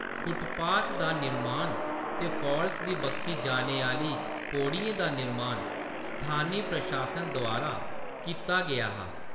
Footpath दा निरमान ते फाल्स दी बक्खी जाने आह्‌‌‌ली पोड़ियें दा निरमान स्थानी प्रशासन द्वारा कीता गेआ हा।